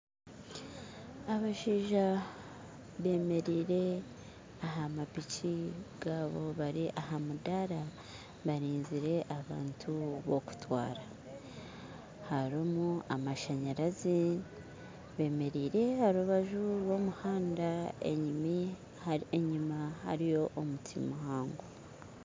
Abashaija bemeriire aha mapiki gaabo bari aha mudara barinzire abantu b'okutwara. Harimu amashanyarazi bemeriire aha rubaju rw'omuhanda enyuma hariyo omuti muhango